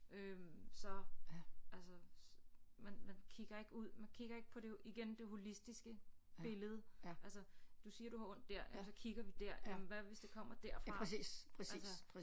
Øh så altså man man kigger ikke ud man kigger ikke på igen det holistiske billede altså du siger du har ondt der og så kigger vi der jamen hvad hvis det kommer derfra altså